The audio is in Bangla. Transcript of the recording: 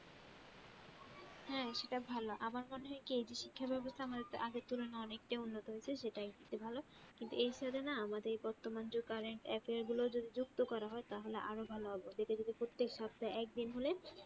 হ্যাঁ সেটা ভালো, আমার মনে হয় কি এই যে শিক্ষাব্যবস্থা আমাদের আগের থেকে অনেকটায় উন্নত হয়েসে সেটা একদিকে ভালো কিন্তু এর সাথে না আমাদের বর্তমান যুগের currentaffair গুলো যুক্ত করা হয় তাহলে আরো ভালো হবে, ওদেরকে যদি প্রত্যেক সপ্তাহে একদিন হলে